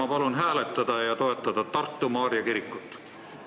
Ma palun hääletada ja toetada Tartu Maarja kirikut!